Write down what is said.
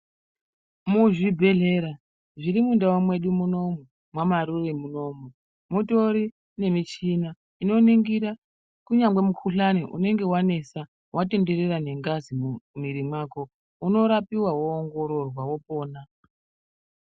Muzvibhehlera zviri mundau mwedu muno, mwa Marure munoumu mutori nechimichini inoningira kunyange mukhuhlani unenge wanesa watenderera nengazi mumwiri mwako unorapiwa wopona.